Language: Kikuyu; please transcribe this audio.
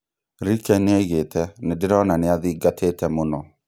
Ricken nĩoigĩte "nĩndĩrona nĩathingatĩte mũno"